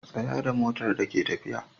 Tsaya da motar da ke tafiya.